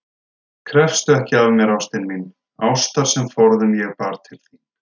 Krefstu ekki af mér, ástin mín, ástar sem forðum ég bar til þín.